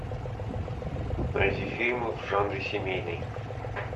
найди фильмы в жанре семейный